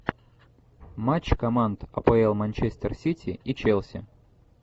матч команд апл манчестер сити и челси